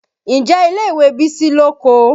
Ǹjẹ́ ilé ìwé Bísí lóko?